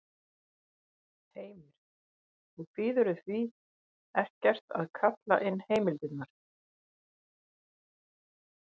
Heimir: Og kvíðirðu því ekkert að kalla inn heimildirnar?